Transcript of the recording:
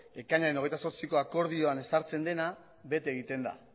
ekainaren hogeita zortziko akordioan ezartzen dena bete egiten da